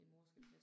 Mh